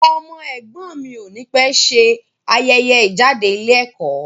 Ọmọ ẹ̀gbọ́n mi ò ní pẹ̀ ṣe ayẹyẹ ìjáde ilé ẹ̀kọ́.